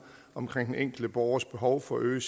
omkring den enkelte borgers behov for at øge